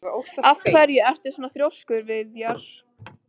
Af hverju ertu svona þrjóskur, Viðjar?